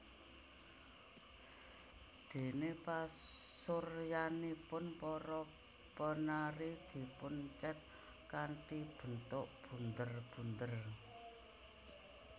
Dene pasuryanipun para penari dipun cet kanthi bentuk bunder bunder